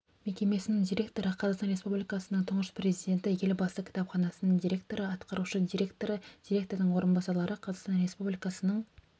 мекемесінің директоры қазақстан республикасының тұңғыш президенті елбасы кітапханасының директоры атқарушы директоры директордың орынбасарлары қазақстан республикасының